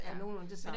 Ja nogenlunde det samme